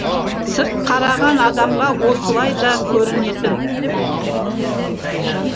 сырт қараған адамға осылай да көрінетін